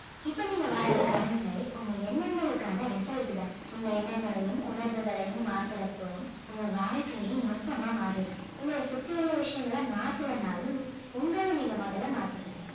இப்ப நீங்க வாழுற current life உங்க எண்ணங்களுக்கான result தான் உங்க எண்ணங்களையும் உணர்வுகளையும் மாத்தறப்போ உங்க வாழ்க்கையே மொத்தமா மாறிடும் உங்களை சுத்தி உள்ள விஷயங்களை மாத்தலனாலும் உங்களை நீங்க முதல்ல மாத்திக்கணும்